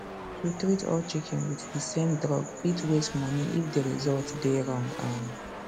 to treat all chicken with the same drug fit waste money if the result dey wrong um